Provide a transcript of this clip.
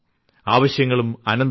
ആവശ്യങ്ങളും അനന്തമാണ്